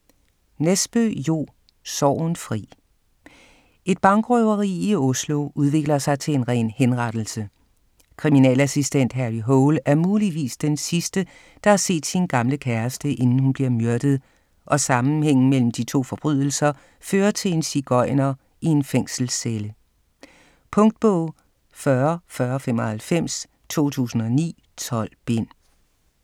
Nesbø, Jo: Sorgenfri Et bankrøveri i Oslo udvikler sig til en ren henrettelse. Kriminalassistent Harry Hole er muligvis den sidste, der har set sin gamle kæreste inden hun bliver myrdet, og sammenhængen mellem de to forbrydelser fører til en sigøjner i en fængselscelle. Punktbog 404095 2009. 12 bind.